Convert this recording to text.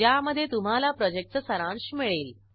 ज्यामध्ये तुम्हाला प्रॉजेक्टचा सारांश मिळेल